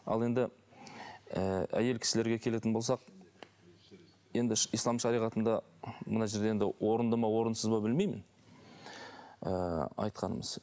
ал енді ы әйел кісілерге келетін болсақ енді ислам шариғатында мына жерде енді орынды ма орынсыз ба білмеймін ы айтқанымыз